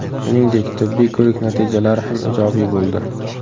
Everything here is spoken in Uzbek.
Shuningdek, tibbiy ko‘rik natijalari ham ijobiy bo‘ldi.